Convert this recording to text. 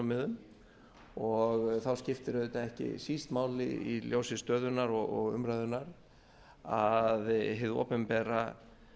neytendasjónarmiðum og þá skiptir auðvitað ekki síst máli í ljósi stöðunnar og umræðunnar að hið opinbera